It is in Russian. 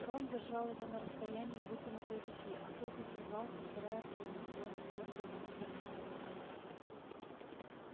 рон держал его на расстоянии вытянутой руки а тот извивался стараясь лягнуть рона твёрдой как кремень ступней